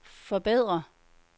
forbedre